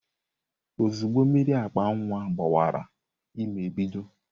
Ozugbo mmiri akpa nwa gbawara ímé ebido.